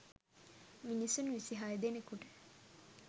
මිනිසුන් විසිහය දෙනෙකුට